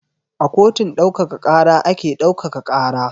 A kotun ɗaukaka ƙara ake ɗaukaka ƙara.